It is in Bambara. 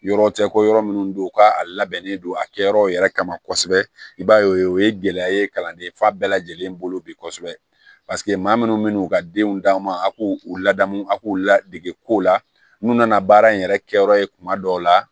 Yɔrɔ tɛ ko yɔrɔ minnu don u ka a labɛnnen don a kɛyɔrɔ yɛrɛ kama kosɛbɛ i b'a ye o ye gɛlɛya ye kalanden fa bɛɛ lajɛlen bolo bi kosɛbɛ maa minnu bɛ n'u ka denw d'a ma a k'u ladamu a k'u ladege ko la n'u nana baara in yɛrɛ kɛ yɔrɔ ye kuma dɔw la